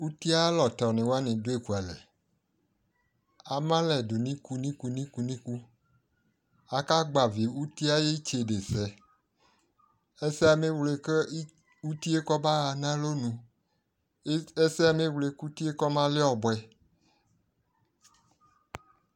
Uti yɛ ayʋ alɔtɔnɩ wanɩ dʋ ekualɛ Ama alɛ dʋ nʋ iku nʋ iku Agbavɩ uti yɛ ayʋ itsedesɛ Ɛsɛ yɛ emewle kʋ uti yɛ baɣa nʋ alɔnu E ɛsɛ yɛ amewle kʋ uti yɛ kɔmalɛ ɔbʋɛ